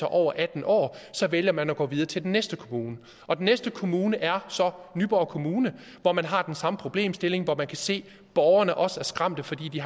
over atten år så vælger man at gå videre til den næste kommune og den næste kommune er så nyborg kommune hvor man har den samme problemstilling og hvor man kan se at borgerne også er skræmte fordi de